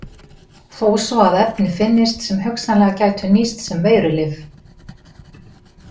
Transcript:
Þó svo að efni finnist sem hugsanlega gætu nýst sem veirulyf.